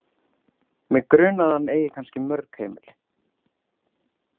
Mig grunar að hann eigi kannski mörg heimili.